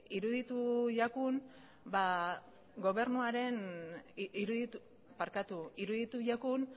iruditu zigun